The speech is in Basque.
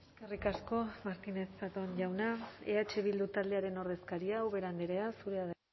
eskerrik asko martínez zatón jauna eh bildu taldearen ordezkaria ubera andrea zurea da